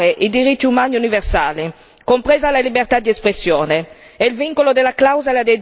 Il Burundi ha l'obbligo di rispettare i diritti umani universali, compresa la libertà d'espressione.